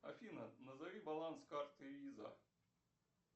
афина назови баланс карты виза